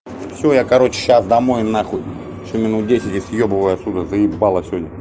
всё я короче сейчас домой на хуй ещё минут десять и я съебываю от сюда заебало всё